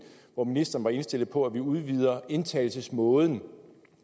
hvor ministeren var indstillet på at vi udvider indtagelsesmåden